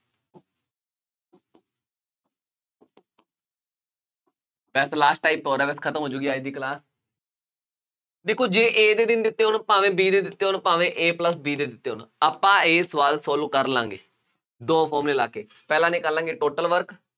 ਵੈਸੇ last type ਹੋਰ ਹੈ, ਵੈਸੇ ਖਤਮ ਹੋ ਜਾਊਗੀ ਅੱਜ ਦੀ class ਦੇਖੋ ਜੇ A ਦੇ ਦਿਨ ਦਿੱਤੇ ਹੋਣ, ਭਾਵੇਂ B ਦੇ ਦਿੱਤੇ ਹੋਣ, ਭਾਵੇ A plus B ਦੇ ਦਿੱਤੇ ਹੋਣ, ਆਪਾਂ ਇਹ ਸਵਾਲ ਤੁਹਾਨੂੰ ਕਰ ਲਾਂ ਗੇ, ਦੋ formula ਲਾ ਕੇ, ਪਹਿਲਾਂ ਨਿਕਾਲਾਗੇ total work